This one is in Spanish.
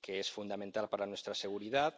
que es fundamental para nuestra seguridad.